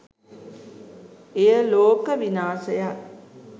එය ලෝක විනාශයක්